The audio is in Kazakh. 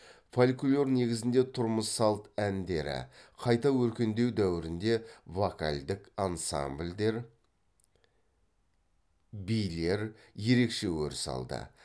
фольклор негізінде тұрмыс салт әндері қайта өркендеу дәуірінде вокальдік ансамбльдер билер ерекше өріс алды